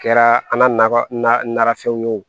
Kɛra an nafɛnw ye o